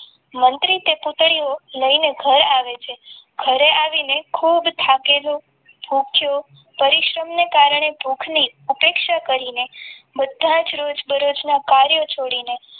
મંત્રી તે પુતડીનું લઈને ઘર આવે છે. ઘરે આવીને ખુબ થાકેલો ભૂખ્યો પરિશ્રમ ને કારણે ભૂખ ની ઉપેક્ષા કરીને બધા જ રોજ બરોજ ના કાર્યો છોડીને